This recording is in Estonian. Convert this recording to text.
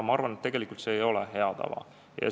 Ma arvan, et see ei ole hea tava.